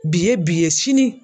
Bi ye bi ye sini